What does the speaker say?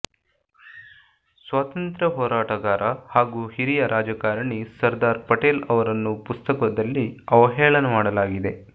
ಸ್ವಾತಂತ್ರ್ಯ ಹೋರಾಟಗಾರ ಹಾಗೂ ಹಿರಿಯ ರಾಜಕಾರಣಿ ಸರ್ದಾರ್ ಪಟೇಲ್ ಅವರನ್ನು ಪುಸ್ತಕದಲ್ಲಿ ಅವಹೇಳನ ಮಾಡಲಾಗಿದೆ